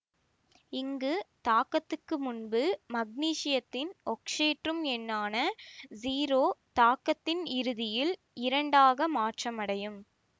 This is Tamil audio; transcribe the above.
இங்கு தாக்கத்துக்கு முன்பு மக்னீசியத்தின் ஒக்சியேற்றும் எண்ணான ஸிரோ தாக்கத்தின் இறுதியில் இரண்டாக மாற்றமடையும்